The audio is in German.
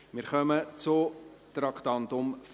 Wir kommen zum Traktandum 50.